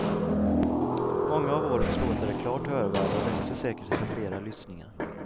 Många av årets låtar är klart hörvärda och växer säkert efter flera lyssningar.